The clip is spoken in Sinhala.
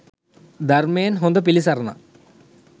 ධර්මයෙන් හොඳ පිළිසරණක්